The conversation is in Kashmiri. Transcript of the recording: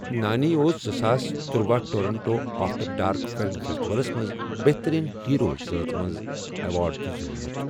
نانی اوس زٕساس تٔروَہ ٹورنٹو آفٹر ڈارک فلم فیسٹیولَس منٛز بہترین ہیرو زٲژ منٛز ایوارڈ تہِ زیوٗنمُت۔